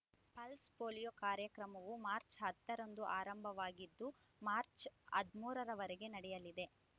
pulse polio ಕಾರ್ಯಕ್ರಮವು March ಹತ್ತ ರಂದು ಆರಂಭವಾಗಿದ್ದು ಮಾರ್ಚ್ ಹದಿಮೂರರವರೆಗೆ ನಡೆಯಲಿದೆ